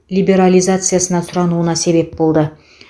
либерализациясына сұрануына себеп болды